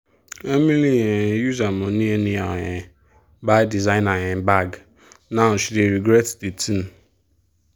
emily um use her money anyhow um buy designer um bag now she dey regret the thing.